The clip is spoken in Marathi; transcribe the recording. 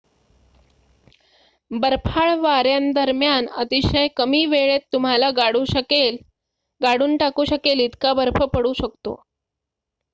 बर्फाळ वाऱ्यांदरम्यान अतिशय कमी वेळेत तुम्हाला गाडून टाकू शकेल इतका बर्फ पडू शकतो